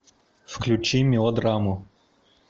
включи мелодраму